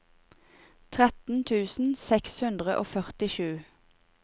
tretten tusen seks hundre og førtisju